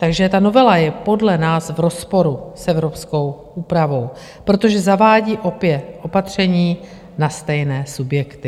Takže ta novela je podle nás v rozporu s evropskou úpravou, protože zavádí opět opatření na stejné subjekty.